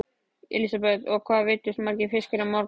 Elísabet: Og hvað veiddust margir fiskar í morgun?